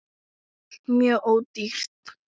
ALLT MJÖG ÓDÝRT!